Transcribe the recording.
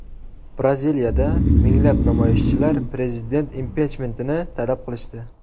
Braziliyada minglab namoyishchilar prezident impichmentini talab qilishdi.